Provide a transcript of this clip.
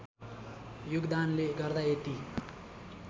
योगदानले गर्दा यति